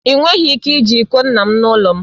Ị nweghị ike iji iko nna m n'ụlọ m